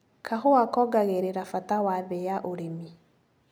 Kahũa kongagĩrira bata wa thĩ ya ũrĩmi.